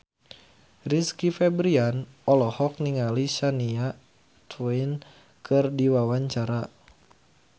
Rizky Febian olohok ningali Shania Twain keur diwawancara